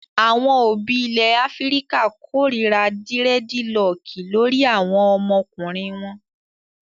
Àwọn òbí ilẹ̀ Áfíríkà kórira dírẹ́dilọọkì lórí àwọn ọmọkùnrin wọn.